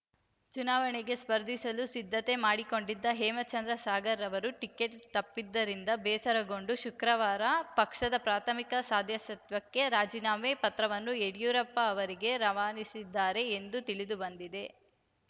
ಚುನಾವಣೆಗೆ ಸ್ಪರ್ಧಿಸಲು ಸಿದ್ಧತೆ ಮಾಡಿಕೊಂಡಿದ್ದ ಹೇಮಚಂದ್ರ ಸಾಗರ್‌ ಅವರು ಟಿಕೆಟ್‌ ತಪ್ಪಿದ್ದರಿಂದ ಬೇಸರಗೊಂಡು ಶುಕ್ರವಾರ ಪಕ್ಷದ ಪ್ರಾಥಮಿಕ ಸದಸ್ಯತ್ವಕ್ಕೆ ರಾಜೀನಾಮೆ ಪತ್ರವನ್ನು ಯಡಿಯೂರಪ್ಪ ಅವರಿಗೆ ರವಾನಿಸಿದ್ದಾರೆ ಎಂದು ತಿಳಿದು ಬಂದಿದೆ